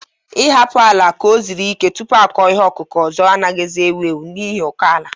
Ị hapụtụ ala ka o zụo ike tupu akọ ihe ọkụkụ ọzọ anaghịzi ewu ewu n'ihi ụkọ ala